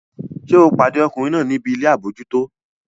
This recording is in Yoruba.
Ṣé o pàdé ọkùnrin náà níbi ilé àbójútó?